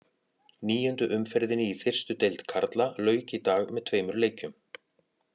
Níundu umferðinni í fyrstu deild karla lauk í dag með tveimur leikjum.